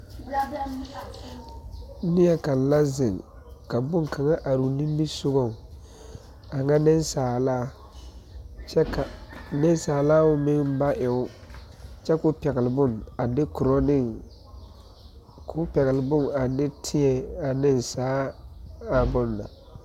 Neɛ kaŋa. la zeŋ ka bon kaŋa are o nimi sɔgɔŋ a ŋa nensaala kyɛ ka nensaala meŋ ba e o, kyɛ ko pɛgele bon a de teɛŋ a ana bon na.